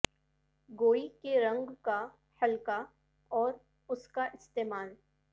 گوئی کے رنگ کا حلقہ اور اس کا استعمال